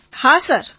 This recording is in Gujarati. વિનોલેકિસો હા સર